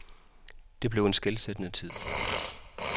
Det blev en skelsættende tid.